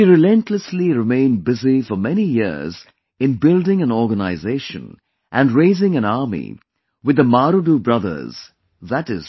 She relentlessly remained busy for many years in building an organization and raising an army with the Marudu Brothers i